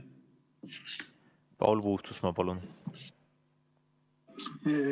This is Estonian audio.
Paul Puustusmaa, palun!